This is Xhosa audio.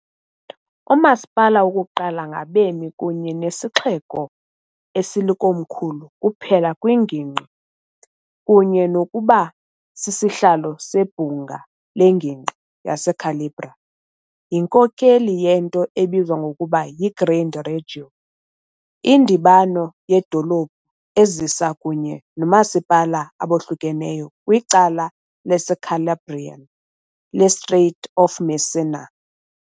Umasipala wokuqala ngabemi kunye nesixeko esilikomkhulu kuphela kwiNgingqi, kunye nokuba sisihlalo seBhunga leNgingqi yaseCalabria, yinkokeli yento ebizwa ngokuba "yiGrande Reggio", indibano yedolophu ezisa kunye noomasipala abohlukeneyo kwicala laseCalabrian leStrait of Messina .